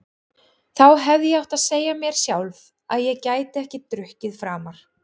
Þá hefði ég átt að segja mér sjálf að ég gæti ekki drukkið framar.